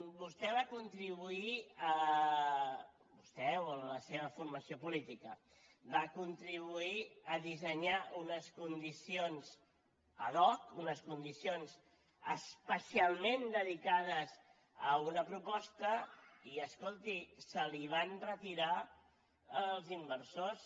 vostè va contribuir vostè o la seva formació política a dissenyar unes condicions ad hoc unes condicions especialment dedicades a una proposta i escolti se li van retirar els inversors